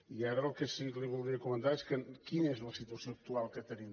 i ara el que sí que li voldria comentar és quina és la situació actual que tenim